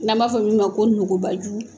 N'an b'a fɔ min ma ko nugubaju